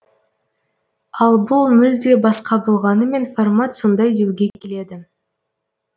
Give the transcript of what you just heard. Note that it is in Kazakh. ал бұл мүлде басқа болғанымен формат сондай деуге келеді